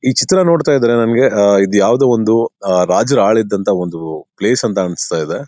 ಈ ಚಿತ್ರ ನೋಡ್ತಾ ಇದ್ರೆ ನನಿಗೆ ಅಹ್ ಇದು ಯಾವುದೋ ಒಂದು ಅಹ್ ರಾಜರು ಅಳಿದಂತ ಒಂದು ಪ್ಲೇಸ್ ಅಂತ ಅನಿಸ್ತಾ ಇದೆ.